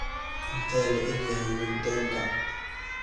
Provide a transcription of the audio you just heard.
intee le'eg yahay nick denda